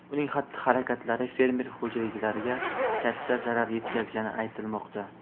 Uning xatti-harakatlari fermer xo‘jaliklariga katta zarar yetkazgani aytilmoqda.